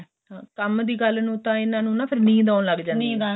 ਹਾਂ ਕੰਮ ਦੀ ਗੱਲ ਨੂੰ ਤਾਂ ਇਹਨਾ ਨੂੰ ਣ ਨੀਂਦ ਆਉਣ ਲੱਕ ਜਾਂਦੀ ਏ